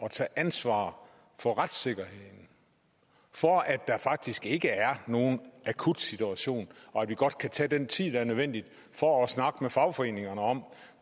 at tage ansvar for retssikkerheden for at der faktisk ikke er nogen akut situation og at vi godt kan tage den tid der er nødvendig for at snakke med fagforeningerne om